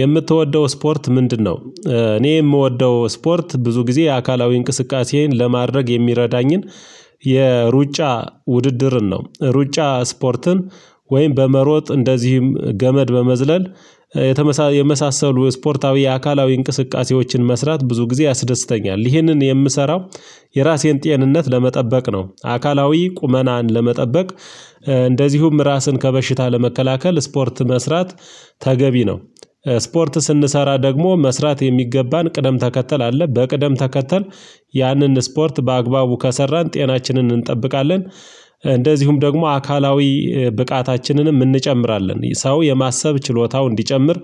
የምትወደው ስፖርት ምንድነው? እኔ የምወደው ስፖርት ብዙ ጊዜ አካላዊ እንቅስቃሴዬን ለማድረግ የሚረዳኝን የሩጫ ውድድርን ነው፤ ሩጫ ስፖርትም ወይም በመሮጥ እንደዚህም ገመድ በመዝለል የተመሳ የመሳሰሉ ስፖርታዊ አካላዊ እንቅስቃሴዎችን መስራት ብዙ ጊዜ ያስደስተኛል፤ ይህንን የምሰራው የራሴን ጤንነት ለመጠበቅ ነው፤ አካላዊ ቁመናን ለመጠበቅ እንደዚሁም ራስን ከበሽታ ለመከላከል ስፖርት መስራት ተገቢ ነው። ስፖርት ስንሰራ ደግሞ መስራት የሚገባን ቅደም ተከተል አለ፤ በቅደም ተከተል ያንን ስፖርት በአግባቡ ከሰራን ጤናችንን እንጠብቃለን፤ እንደዚሁም ደግሞ አካላዊ ብቃታችንንም እንጨምራለን፤ ሰው የማሰብ ችሎታው እንዲጨምር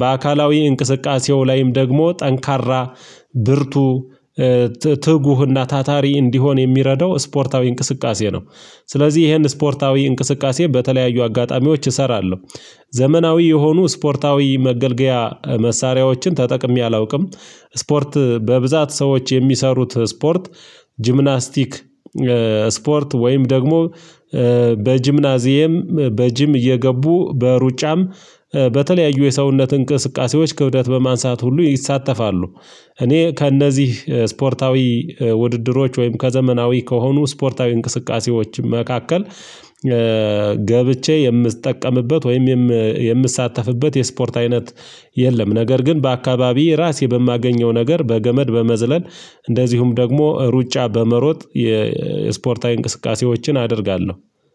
በአካላዊ እንቅስቃሴው ላይም ደግሞ ጠንካራ፣ ብርቱ ትጉህና ታታሪ እንዲሆን የሚረዳው ስፖርታዊ እንቅስቃሴ ነው፤ ስለዚህ ይሄን ስፖርታዊ እንቅስቃሴ በተለያዩ አጋጣሚዎች እሰራለሁ፤ ዘመናዊ የሆኑ ስፖርታዊ መገልገያ መሳሪያዎችን ተጠቅሜ አላውቅም፤ ስፖርት በብዛት ሰዎች የሚሰሩት ስፖርት ጂምናስቲክ ስፖርት ወይም ደግሞ በጂምናዚየም በጂም እየገቡ በሩጫም በተለያዩ የሰውነት እንቅስቃሴዎች ክብደት በማንሳት ሁሉ ይሳተፋሉ፤ እኔ ከእነዚህ ስፖርታዊ ውድድሮች ወይም ከዘመናዊ ከሆኑ ስፖርታዊ እንቅስቃሴዎችም መካከል ገብቼ የምትጠቀምበት ወይም የምትሳተፍበት የስፖርት አይነት የለም፤ ነገር ግን በአካባቢየ ራሴ በማገኘው ነገር በገመድ በመዝለል እንደዚሁም ደግሞ ሩጫ በመሮጥ የስፖርታዊ እንቅስቃሴዎችን አደርጋለሁ።